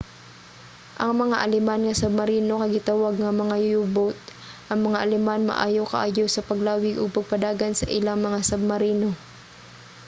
ang mga aleman nga submarino kay gitawag nga mga u-boat. ang mga aleman maayo kaayo sa paglawig ug pagpadagan sa ilang mga submarino